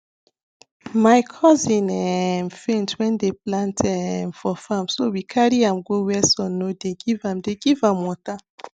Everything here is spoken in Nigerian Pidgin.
my cousin um faint when dey plant um for farm so wecarry am go where sun no dey giveam dey giveam water